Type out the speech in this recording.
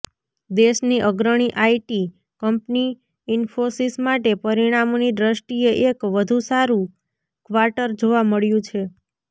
દેશની અગ્રણી IT company Infosys માટે પરિણામોની દ્રષ્ટિએ એક વધુ સારુ ક્વાર્ટર જોવા મળ્યું છે